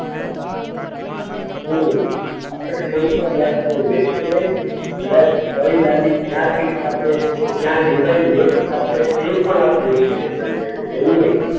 હમ્મ આપણે કોઈ પણ જાતનું વેસ્ટ નઈ. પ્લસ કઈ લાદી ક્યાં ફિટ થાશે, તો ક્યાં ડિઝાઈન મેચ થાશે એ પણ આપણી એપ્લિકેશન કહેશે એવું નહીં